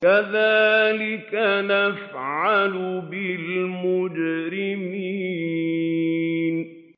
كَذَٰلِكَ نَفْعَلُ بِالْمُجْرِمِينَ